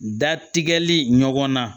Da tigɛli ɲɔgɔnna